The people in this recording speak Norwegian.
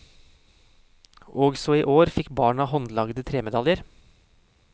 Også i år fikk barna håndlagede tremedaljer.